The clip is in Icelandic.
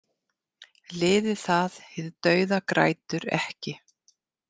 Liðið það hið dauða grætur ekki.